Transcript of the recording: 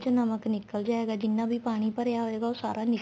ਨਮਕ ਨਿਕਲ ਜਾਏਗਾ ਜਿੰਨਾ ਵੀ ਪਾਣੀ ਪਰਿਆ ਹੋਏਗਾ ਉਹ ਸਾਰਾ ਨਿਕਲ